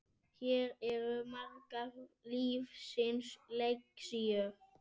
Hér eru margar lífsins lexíur.